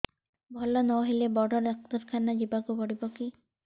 ଭଲ ନହେଲେ ବଡ ଡାକ୍ତର ଖାନା ଯିବା କୁ ପଡିବକି